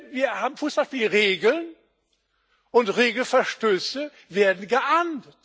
Wir haben Fußballspielregeln, und Regelverstöße werden geahndet.